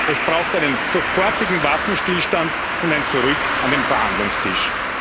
Es braucht einen sofortigen Waffenstillstand und ein zurück an den Verhandlungstisch.